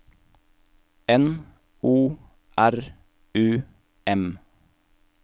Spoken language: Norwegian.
N O R U M